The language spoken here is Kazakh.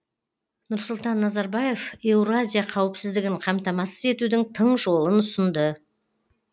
нұрсұлтан назарбаев еуразия қауіпсіздігін қамтамасыз етудің тың жолын ұсынды